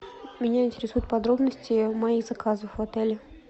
меня интересуют подробности моих заказов в отеле